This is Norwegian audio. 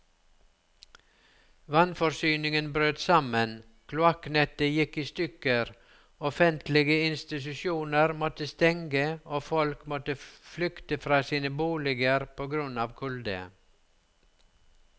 Vannforsyningen brøt sammen, kloakknettet gikk i stykker, offentlige institusjoner måtte stenge og folk måtte flykte fra sine boliger på grunn av kulde.